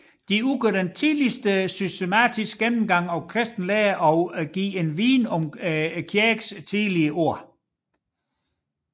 De udgør den tidligste systematiske gennemgang af kristen lære og giver en viden om kirkens tidlige år